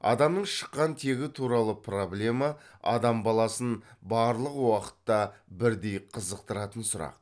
адамның шыққан тегі туралы проблема адам баласын барлық уақытта бірдей қызықтыратын сұрақ